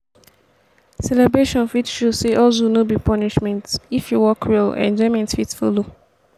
celebration fit show sey hustle no be punishment if e work well enjoyment fit follow.